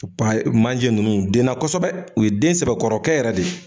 manje ninnu u denna kosɛbɛ u ye den sɛbɛkɔrɔ kɛ yɛrɛ de.